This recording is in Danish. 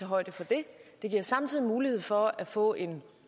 højde for det det giver samtidig mulighed for at få en